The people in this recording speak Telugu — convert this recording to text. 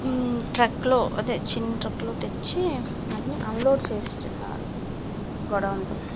ఉమ్ ట్రక్ లో అదే చిన్న ట్రాక్ లో తెచ్చి అంటే ఆన్ లోడ్ చేస్తున్నారు గోడౌన్ లోకి గో డౌన్ లోకి .